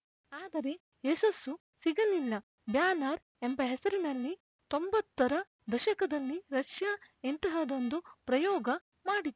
ಆದರೆ ಯಶಸ್ಸು ಸಿಗಲಿಲ್ಲ ಬ್ಯಾನರ್‌ ಎಂಬ ಹೆಸರಿನಲ್ಲಿ ತೊಂಬತ್ತರ ದಶಕದಲ್ಲಿ ರಷ್ಯಾ ಇಂತಹದ್ದೊಂದು ಪ್ರಯೋಗ ಮಾಡಿತ್ತು